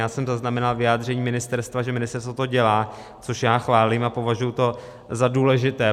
Já jsem zaznamenal vyjádření ministerstva, že ministerstvo to dělá, což já chválím a považuji to za důležité.